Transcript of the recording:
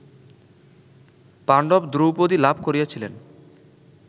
পাণ্ডব দ্রৌপদীলাভ করিয়াছিলেন